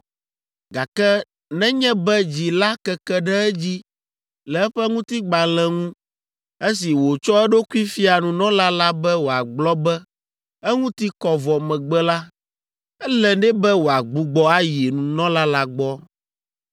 gake nenye be dzi la keke ɖe edzi le eƒe ŋutigbalẽ ŋu esi wòtsɔ eɖokui fia nunɔla la be wòagblɔ be eŋuti kɔ vɔ megbe la, ele nɛ be wòagbugbɔ ayi nunɔla la gbɔ.